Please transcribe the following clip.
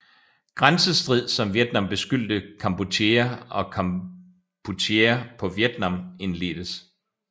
Grænsestrid som Vietnam beskyldte Kampuchea og Kampuchea på Vietnam indledtes